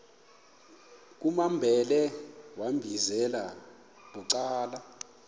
kumambhele wambizela bucala